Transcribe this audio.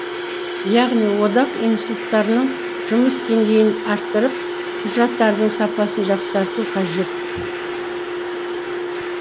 яғни одақ институттарының жұмыс деңгейін арттырып құжаттардың сапасын жақсарту қажет